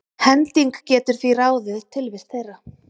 hending getur því ráðið tilvist þeirra